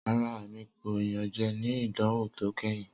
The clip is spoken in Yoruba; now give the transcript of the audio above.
Rara, Emi ko iyanjẹ ni idanwo to kẹhin.